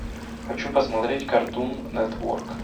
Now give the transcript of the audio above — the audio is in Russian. хочу посмотреть картун нетворк